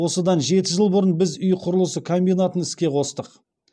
осыдан жеті жыл бұрын біз үй құрылысы комбинатын іске қостық